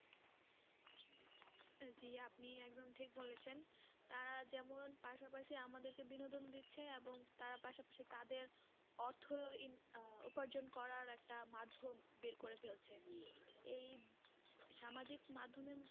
জি আপনি একদম ঠিক বলেছেন তারা যেমন পাশাপাশি আমাদেরকে বিনোদন দিচ্ছে এবং তারা পাশাপাশি তাদের অর্থ আহ উপার্জন করার একটা মাধ্যোম বের করে ফেলছে এই সামাজিক মাধ্যমে